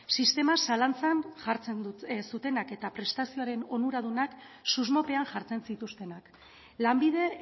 sistema zalantzan jartzen zutenak eta prestazioaren onuradunak susmopean jartzen zituztenak lanbide